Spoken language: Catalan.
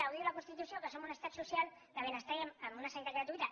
ho diu la constitució que som un estat social de benestar i amb una sanitat gratuïta